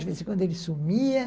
De vez em quando ele sumia.